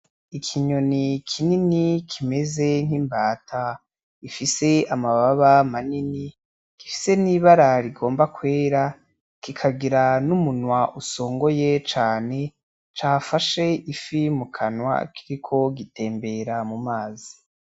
Ikinyoni kinini kimeze nk’imbata ifise amababa manini , gifise n’ibara rigomba kwera kikagira n’umunwa usongoye cane cafashe ifi mu kanwa , kiriko gitembera mu mazi.